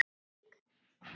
og SÍK.